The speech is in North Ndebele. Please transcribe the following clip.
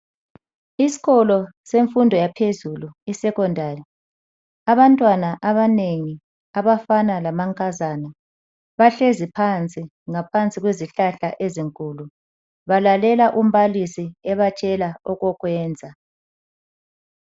Isikolo semfundo yaphezulu, isecondary. Abantwana abanengi, abafana lamankazana, bahlezi phansi, ngaphansi kwezihlahla ezinkulu. Balalela umbalisi ebatshela okokwenza.